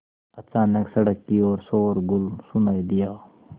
अचानक सड़क की ओर शोरगुल सुनाई दिया